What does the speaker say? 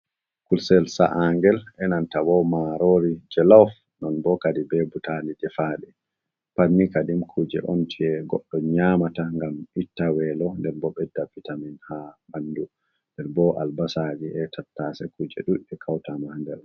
Kusel sa'a'ngel e nanta bo marori jeluf non bo kadi be butali defa ɗum. Patni kadim kuje on je goɗɗo nyamata ngam itta welo, nde bo ɓedda vitamin ha bandu, nde bo albasaji e tattase kuje dudde kawta ma ha nder.